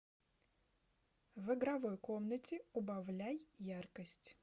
в игровой комнате убавляй яркость